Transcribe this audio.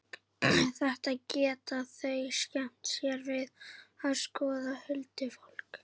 Þetta geta þau skemmt sér við að skoða, huldufólkið.